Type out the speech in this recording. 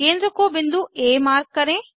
केंद्र को बिंदु आ मार्क करें